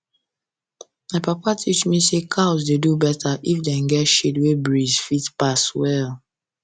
my papa teach me say cows dey do better if dem get shade wey breeze fit pass well